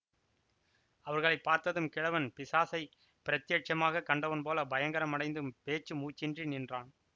அவர்களை பார்த்ததும் கிழவன் பிசாசைப் பிரத்தியட்சமாகக் கண்டவன் போல் பயங்கரமடைந்து பேச்சு மூச்சின்றி நின்றான்